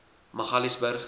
magaliesburg